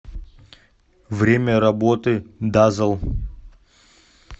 время работы дазэл